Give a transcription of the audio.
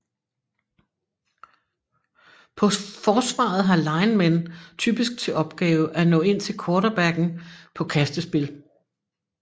På forsvaret har linemen typisk til opgave at nå ind til quarterbacken på kastespil